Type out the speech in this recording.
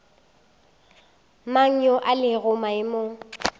mang yo a lego maemong